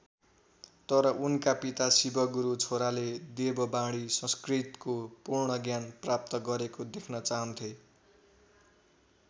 तर उनका पिता शिवगुरु छोरोले देववाणी संस्कृतको पूर्ण ज्ञान प्राप्त गरेको देख्न चाहन्थे।